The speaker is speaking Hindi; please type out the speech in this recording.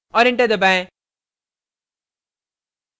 और enter दबाएं